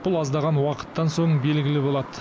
бұл аздаған уақыттан соң белгілі болады